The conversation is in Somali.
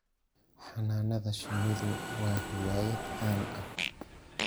Xannaanada shinnidu waa hiwaayad caan ah.